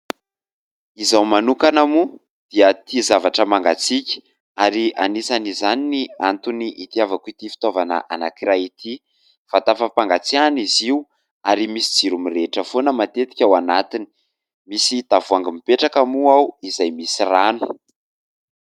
Izaho manokana moa dia tia zavatra mangatsiaka ary anisan'izany ny antony itiavako ity fitaovana anankiray ity. Vata fampangatsiahana izy io ary misy jiro mirehitra foana matetika ao anatiny. Misy tavoahangy mipetraka moa ao izay misy rano.